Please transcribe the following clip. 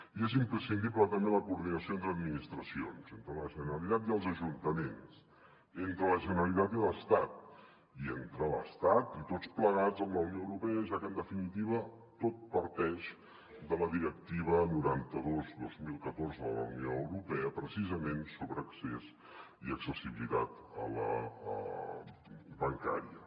i és imprescindible també la coordinació entre administracions entre la gene·ralitat i els ajuntaments entre la generalitat i l’estat i entre l’estat i tots plegats amb la unió europea ja que en definitiva tot parteix de la directiva noranta dos dos mil catorze de la unió europea precisament sobre accés i accessibilitat bancària